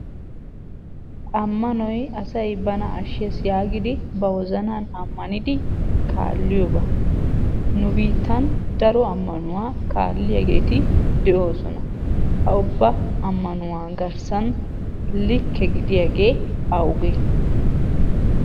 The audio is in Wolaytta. Ammanoy asay bana ashshees yaagidi ba wozanan ammanidi kaalliyoba. Nu biittan daro ammanuwaa kaalliyaageeti de'oosona. Ha ubba ammanuwa garssan likke gidiyaagee awuge?